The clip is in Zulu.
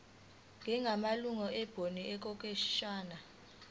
njengamalungu ebhodi okwesikhashana